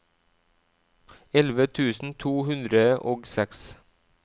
elleve tusen to hundre og seks